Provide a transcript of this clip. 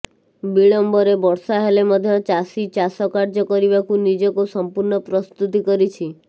ବିଳମ୍ବରେ ବର୍ଷା ହେଲେ ମଧ୍ୟ ଚାଷୀ ଚାଷ କାର୍ଯ୍ୟ କରିବାକୁ ନିଜକୁ ସମ୍ପୂର୍ଣ୍ଣ ପ୍ରସ୍ତୁତି କରିଛି